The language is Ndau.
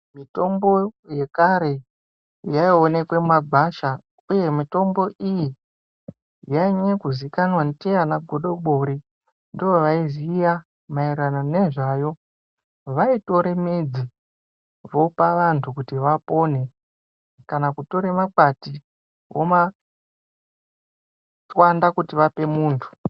Mitombo dzekare yaioneke mumagwasha uye mitombo iyi yainyanya kuzikwanwa ndiana godobori ndoovaiziya maererano nezvayo. Vaitore midzi vopa vantu kuti vapore kana kutore makwati womatswanda kuti vape muntu.